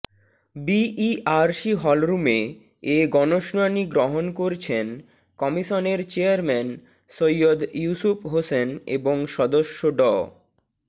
BERC হলরুমে এ গণশুনানি গ্রহণ করছেন কমিশনের চেয়ারম্যান সৈয়দ ইউসুফ হোসেন এবং সদস্য ড